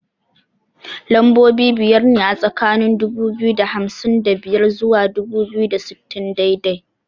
Lambobi biyar ne a tsakani dubu biyu da hamsin da biyar zuwa dubu biyu da sittin daidai